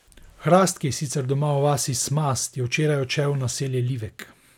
Hrast, ki je sicer doma v vasi Smast, je včeraj odšel v naselje Livek.